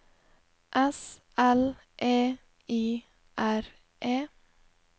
S L E I R E